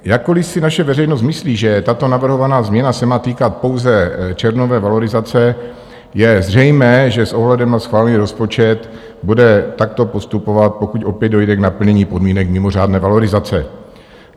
Jakkoliv si naše veřejnost myslí, že tato navrhovaná změna se má týkat pouze červnové valorizace, je zřejmé, že s ohledem na schválený rozpočet bude takto postupovat, pokud opět dojde k naplnění podmínek mimořádné valorizace.